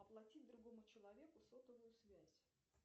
оплатить другому человеку сотовую связь